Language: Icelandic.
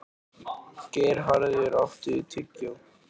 Geirharður, áttu tyggjó?